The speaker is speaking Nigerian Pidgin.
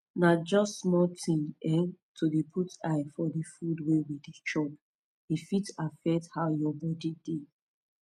na just small thing eh to dey put eye for de food way we dey chop e fit affect how your body dey